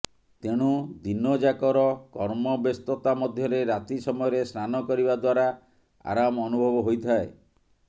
ତେଣୁ ଦିନଯାକର କର୍ମବ୍ୟସ୍ତତା ମଧ୍ୟରେ ରାତି ସମୟରେ ସ୍ନାନ କରିବା ଦ୍ୱାରା ଆରାମ ଅନୁଭବ ହୋଇଥାଏ